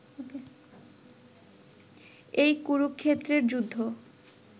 এই কুরুক্ষেত্রের যুদ্ধ